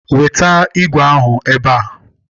Weta igwe ahụ ebe a!